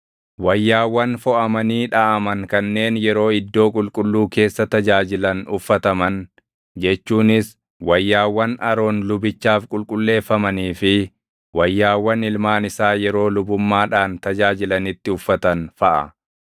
wayyaawwan foʼamanii dhaʼaman kanneen yeroo iddoo qulqulluu keessa tajaajilan uffataman, jechuunis wayyaawwan Aroon lubichaaf qulqulleeffamanii fi wayyaawwan ilmaan isaa yeroo lubummaadhaan tajaajilanitti uffatan feʼa.